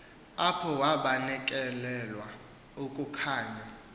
apho wabanekelwa kukukhanya